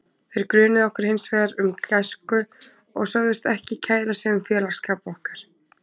Þeir grunuðu okkur hins vegar um græsku og sögðust ekki kæra sig um félagsskap okkar.